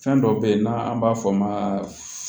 Fɛn dɔ be yen n'an b'a fɔ o ma